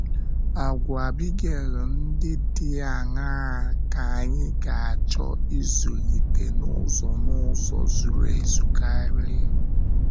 Àgwà Abigail ndị dị aṅaa ka anyị ga - achọ ịzụlite n’ụzọ n’ụzọ zuru ezu karị?